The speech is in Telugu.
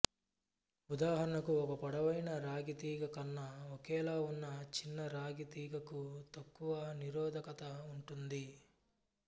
ఉదాహరణకు ఒక పొడవైన రాగి తీగ కన్నా ఒకేలా ఉన్న చిన్న రాగి తీగకు తక్కువ నిరోధకత ఉంటుంది